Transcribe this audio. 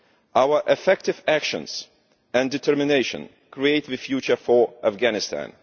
Our effective action and determination create the future for Afghanistan.